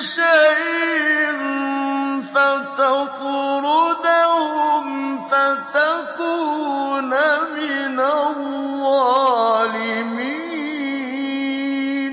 شَيْءٍ فَتَطْرُدَهُمْ فَتَكُونَ مِنَ الظَّالِمِينَ